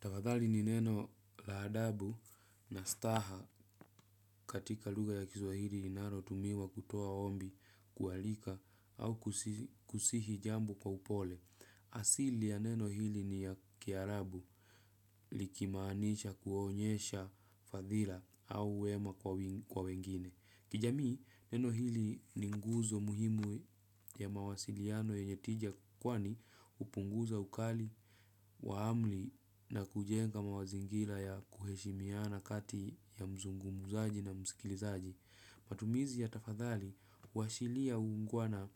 Tafadhali ni neno la adabu na staha katika luga ya kiswahili inaro tumiwa kutoa ombi kualika au kusihi jambo kwa upole. Asili ya neno hili ni ya kiarabu likimaanisha kuonyesha fadhila au uema kwa wengine. Kijamii, neno hili ni nguzo muhimu ya mawasiliano yenye tija kwani upunguza ukali, wa amli na kujenga mawazingila ya kuheshimiana kati ya mzungumuzaji na mskilizaji. Matumizi ya tafadhali, uwashilia uungwana